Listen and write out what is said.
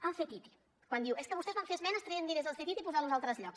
el ctti quan diu és que vostès van fer esmenes traient diners del ctti i posant los a altres llocs